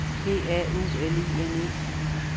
P A U L I N E